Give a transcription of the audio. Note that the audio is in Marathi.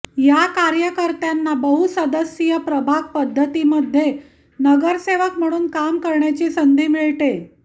या कार्यकर्त्यांना बहुसदस्यीय प्रभाग पद्धतीमध्ये नगरसेवक म्हणून काम करण्याची संधी मिळते